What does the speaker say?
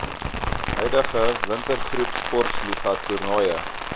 huidige wintergroepsportliga toernooie